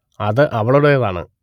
അത് അവളുടെതാണ്